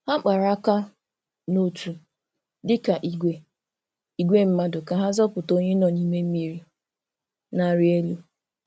Ha kpara aka n’otu dịka ìgwè ìgwè mmadụ ka ha zọpụta onye nọ n’ime mmiri na-arị elu.